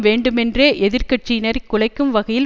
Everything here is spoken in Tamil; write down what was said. வேண்டுமேன்றே எதிர்க்கட்சியினரை குலைக்கும் வகையில்